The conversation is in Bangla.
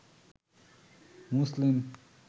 মুসলিম